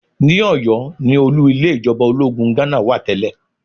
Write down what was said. Ní Ọ̀yọ́ ni olú ilé ìjọba ológun Ghánà wà tẹ́lẹ̀